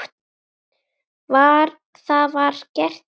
Það var gert í fyrra.